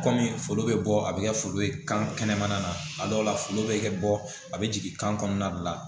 Kɔmi foro bɛ bɔ a bɛ kɛ foro ye kan kɛnɛmana na a dɔw la foli bɛ kɛ bɔ a bɛ jigin kan kɔnɔna de la